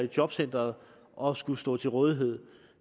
jobcenteret og at skulle stå til rådighed